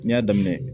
N y'a daminɛ